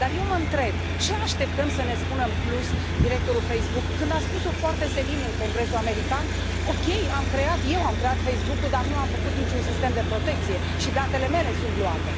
Dar eu mă întreb ce așteptăm să ne spună în plus directorul Facebook, când a spus o foarte senin în Congresul american OK, eu am creat Facebook ul, dar nu am făcut niciun sistem de protecție și chiar și datele mele sunt luate.